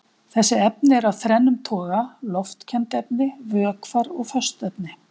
Þessi efni eru af þrennum toga: loftkennd efni, vökvar og föst efni.